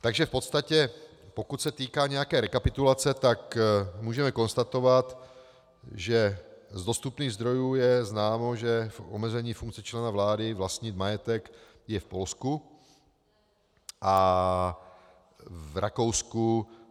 Takže v podstatě pokud se týká nějaké rekapitulace, tak můžeme konstatovat, že z dostupných zdrojů je známo, že omezení funkci člena vlády vlastnit majetek je v Polsku a v Rakousku.